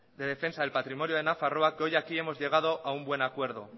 de defensa del patrimonio de nafarroa que hoy aquí hemos llegado a un buen acuerdo